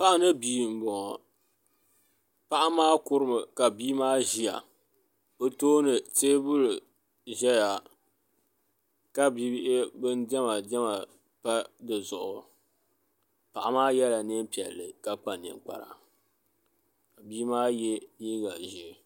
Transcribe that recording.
niriba n-tam palli zuɣu n-chana bɛ shɛba yela neen'sabila shɛba ye neem' piɛla shɛba ye neen' kɔŋkɔba bɛ shɛba pili zipila jirambisa waɣila nyɛla din ʒe m-baɣi ba ka tihi ʒe